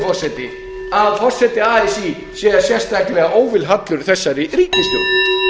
forseti að forseti así sé sérstaklega óvilhallur þessari ríkisstjórn